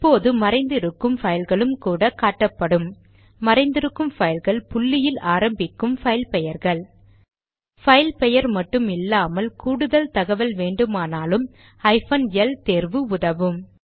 இப்போது மறைந்து இருக்கும் பைல்களும் கூட காட்டப்படும்மறைந்திருக்கும் பைல்கள் புள்ளியில் ஆரம்பிக்கும் பைல் பெயர்கள் பைல் பெயர் மட்டும் இல்லாமல் கூடுதல் தகவல் வேண்டுமானால் ஹைபன் எல் தேர்வு உதவும்